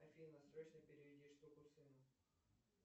афина срочно переведи штуку сыну